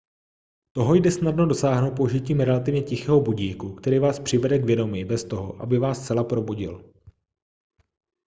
toho jde snadno dosáhnout použitím relativně tichého budíku který vás přivede k vědomí bez toho aby vás zcela probudil